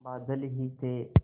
बादल ही थे